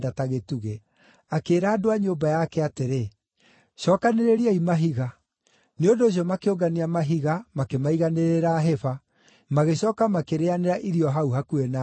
Akĩĩra andũ a nyũmba yake atĩrĩ, “Cookanĩrĩriai mahiga.” Nĩ ũndũ ũcio makĩũngania mahiga makĩmaiganĩrĩra hĩba, magĩcooka makĩrĩanĩra irio hau hakuhĩ na hĩba ĩyo.